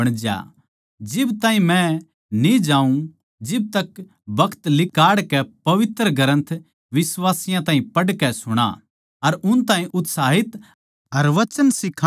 जिब ताहीं मै न्ही जाऊँ जिब तक बखत लिकाड़ कै पवित्र ग्रन्थ बिश्वासियाँ ताहीं पढ़कै सुणा अर उन ताहीं उत्साहित अर वचन सिखाण म्ह लग्या रह